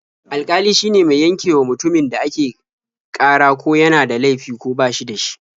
Alƙali shine mai yankewa mutumin da ake ƙara ko yana da laifi ko ba shi da shi.